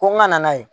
Ko n ka na n'a ye